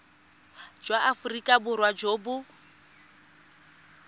jwa aforika borwa jo bo